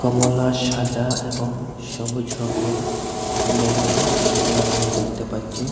কমলা সাদা এবং সবুজ রঙের বেলুন লাগানো দেখতে পাচ্ছি।